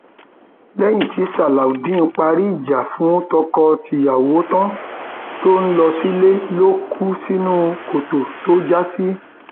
nura fẹnu ara ẹ ṣàlàyé pé iṣẹ òkàdá lòun ń ṣe òun ń fi ọkadà gbèrò lágbègbè náà ni